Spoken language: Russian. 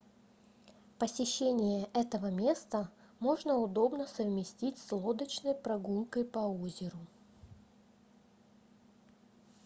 посещение этого места можно удобно совместить с лодочной прогулкой по озеру